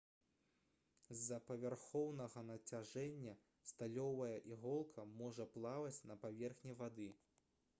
з-за павярхоўнага нацяжэння сталёвая іголка можа плаваць на паверхні вады